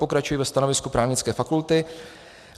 Pokračuji ve stanovisku Právnické fakulty.